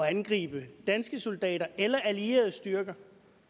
at angribe danske soldater eller allierede styrker